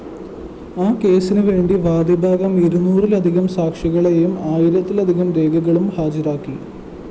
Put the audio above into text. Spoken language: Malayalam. ആ കേസ്സിനുവേണ്ടി വാദിഭാഗം ഇരുനൂറിലധികം സാക്ഷികളേയും ആയിരത്തിലധികം രേഖകളും ഹാജരാക്കി